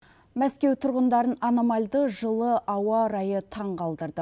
мәскеу тұрғындарын аномальды жылы ауа райы таңғалдырды